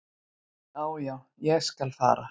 """Já, já, ég skal fara."""